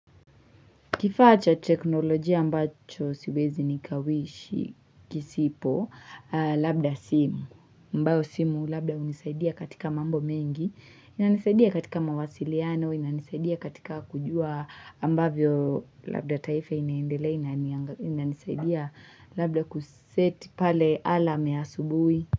Kifaa cha teknolojia ambacho siwezi nikawishi kisipo, labda simu, ambayo simu labda hunisaidia katika mambo mengi, inanisaidia katika mawasiliano, inanisaidia katika kujua ambavyo labda taifa inaendele, inanisaidia labda kuseti pale alarm ya asubuhi.